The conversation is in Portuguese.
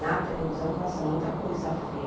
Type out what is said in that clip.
Na televisão passa muita coisa feia.